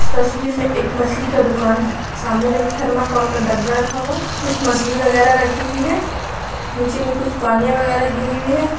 इस तस्वीर में एक मछली का दुकान है सामने में एक थर्माकोल का डब्बा रखा हुआ कुछ मछली वगैरा रखी हुई है नीचे में कुछ पानियां वगैरह गिरी हुई है।